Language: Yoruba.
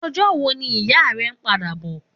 Òjò wó ni ìyá rè n pàdá bò?